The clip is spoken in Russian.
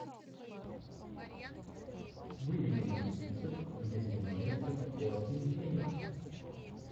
выведи мне список где снимается хоакин феникс